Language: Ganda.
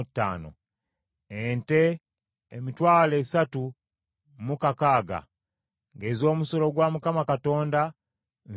Ente, emitwalo esatu mu kakaaga (36,000), ng’ez’omusolo gwa Mukama Katonda nsanvu mu bbiri (72).